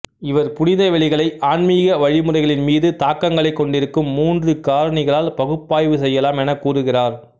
இவர் புனித வெளிகளை ஆன்மீக வழிமுறைகளின்மீது தாக்கங்களைக் கொண்டிருக்கும் மூன்று காரணிகளால் பகுப்பாய்வு செய்யலாம் எனக் கூறுகிறார்